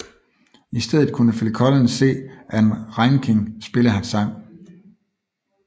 I stedet kunne Phil Collins se Ann Reinking spille hans sang